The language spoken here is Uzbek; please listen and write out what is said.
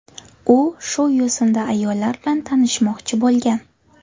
U shu yo‘sinda ayollar bilan tanishmoqchi bo‘lgan.